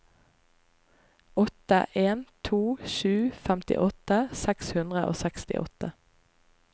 åtte en to sju femtiåtte seks hundre og sekstiåtte